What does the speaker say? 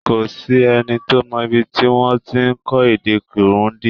Kò s’ẹ́ni tó mọ ibi tí wọ́n ti ń kọ́ èdè Kirundi.